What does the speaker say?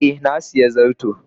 Eh, na sayi zarto.